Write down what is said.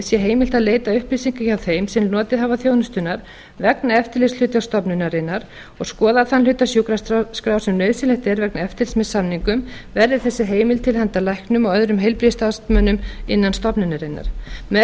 sé heimilt að leita upplýsinga hjá þeim sem notið hafa þjónustunnar vegna eftirlitshlutverks stofnunarinnar og skoða þann hluta sjúkraskrár sem nauðsynlegt er vegna eftirlits með samningum verði þessi heimild til handa læknum og öðrum heilbrigðisstarfsmönnum innan stofnunarinnar með því er